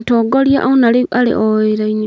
Mũtongoria ona rĩu arĩ o wĩra-inĩ